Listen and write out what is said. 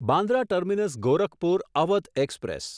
Bandra terminus Gorakhpur Awadh express